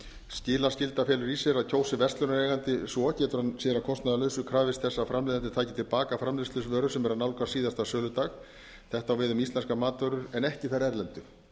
skilaskylda felur í sér að kjósi verslunareigandi svo getur hann sér að kostnaðarlausu krafist þess að framleiðandi taki til baka framleiðsluvöru sem er að nálgast síðasta söludag þetta á við um íslenskar matvörur en ekki þær erlendu